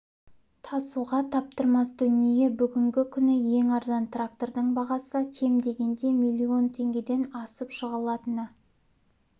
тасуға таптырмас дүние бүгінгі күні ең арзан трактордың бағасы кем дегенде млн теңгеден асып жығылатыны